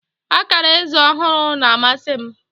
Akara eze ọhụrụ na-amasị m